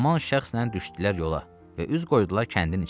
Və həman şəxslə düşdülər yola və üz qoydular kəndin içinə.